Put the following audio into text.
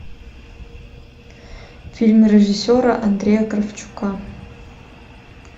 фильм режиссера андрея кравчука